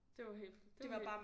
Det var helt det